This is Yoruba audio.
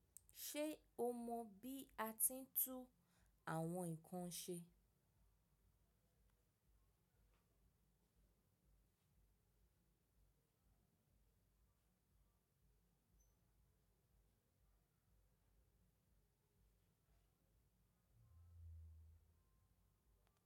Ṣe o mọ bi a ti n tún àwọn nǹkan ṣe?